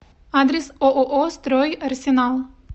адрес ооо стройарсенал